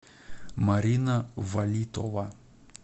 марина валитова